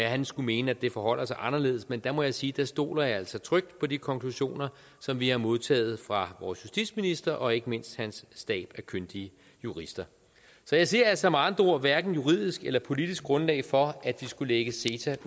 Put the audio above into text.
at han skulle mene at det forholder sig anderledes men der må jeg sige at der stoler jeg altså trygt på de konklusioner som vi har modtaget fra vores justitsminister og ikke mindst hans stab af kyndige jurister jeg ser altså med andre ord hverken et juridisk eller politisk grundlag for at vi skulle lægge ceta